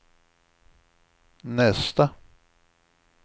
nästa